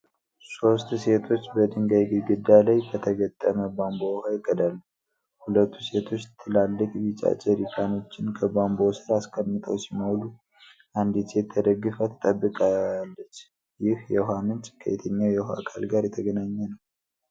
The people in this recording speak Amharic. ሦስት ሴቶች በድንጋይ ግድግዳ ላይ ከተገጠመ ቧንቧ ውሃ ይቀዳሉ። ሁለቱ ሴቶች ትላልቅ ቢጫ ጀሪካኖችን ከቧንቧው ስር አስቀምጠው ሲሞሉ፣ አንዲት ሴት ተደግፋ ትጠብቃለች። ይህ የውሃ ምንጭ ከየትኛው የውሃ አካል ጋር የተገናኘ ነው?